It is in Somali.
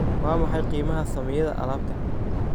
waa maxay qiimaha saamiyada alaabtan